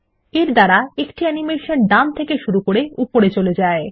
এর দ্বারা একটি অ্যানিমেশন ডান দিকে থেকে শুরু হয়ে উপরে চলে যায়